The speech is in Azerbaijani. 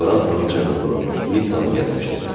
Fransanın cənubunu, Nitsanı gəzmişdi.